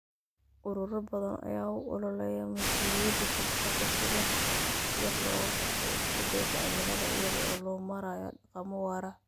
Ururo badan ayaa u ololeeya mas'uuliyadda shirkadda si wax looga qabto isbeddelka cimilada iyada oo loo marayo dhaqamo waara.